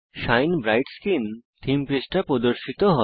shine bright skin theme পৃষ্ঠা প্রদর্শিত হয়